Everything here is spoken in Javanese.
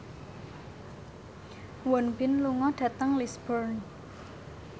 Won Bin lunga dhateng Lisburn